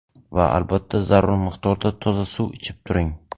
Va albatta zarur miqdorda toza suv ichib turing.